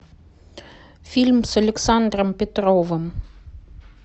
фильм с александром петровым